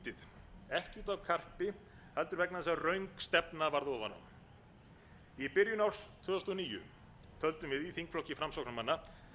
lítið ekki út af karpi heldur vegna þess að röng stefna varð ofan á í byrjun árs tvö þúsund og níu töldum við í þingflokki framsóknarmanna